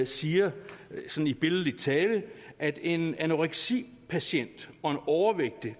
siger sådan billedligt talt at en anoreksipatient og en overvægtig